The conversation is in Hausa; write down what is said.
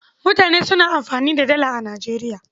Mutane suna amfani da Dala a Nijeriya.